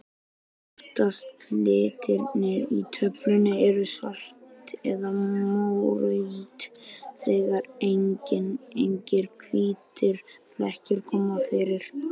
Öftustu litirnir í töflunni eru svart eða mórautt, þegar engir hvítir flekkir koma fyrir.